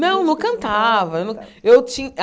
Não, não cantava. Eu não eu